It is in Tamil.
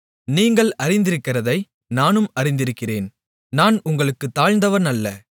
நீங்கள் அறிந்திருக்கிறதை நானும் அறிந்திருக்கிறேன் நான் உங்களுக்குத் தாழ்ந்தவன் அல்ல